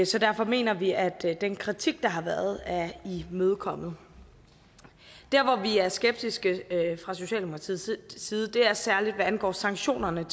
så derfor mener vi at den kritik der har været er imødekommet der hvor vi er skeptiske fra socialdemokratiets side er særlig hvad angår sanktionerne